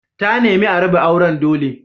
Ta nemi a raba auren dole.